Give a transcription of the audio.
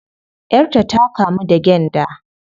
Yar ta ta kamu da gyanda